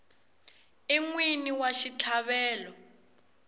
i n wini wa xitlhavelo